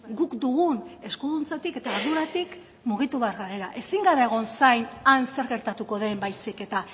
guk dugun eskuduntzatik eta arduratik mugitu behar garela ezin gara egon zain han zer gertatuko den baizik eta